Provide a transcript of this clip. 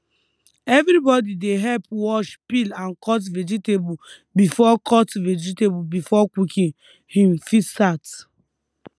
everybody dey help wash peel and cut vegetable before cut vegetable before cooking um fit start